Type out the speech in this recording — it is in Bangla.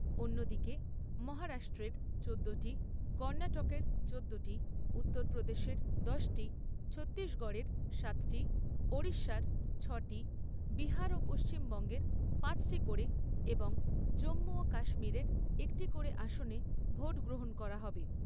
অন্যদিকে মহারাষ্ট্রের চোদ্দোটি, কর্ণাটকের চোদ্দোটি, উত্তর প্রদেশের দশটি, ছত্তিশগড়ের সাতটি, উড়িষ্যার ছয়টি, বিহার ও পশ্চিমবঙ্গের পাঁচটি করে এবং জম্মু ও কাশ্মিরের একটি আসনে ভোট গ্রহণ করা হবে।